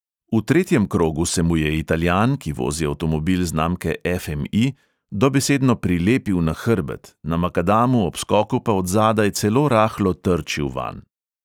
V tretjem krogu se mu je italijan, ki vozi avtomobil znamke ef|em|i, dobesedno prilepil na hrbet, na makadamu ob skoku pa od zadaj celo rahlo trčil vanj.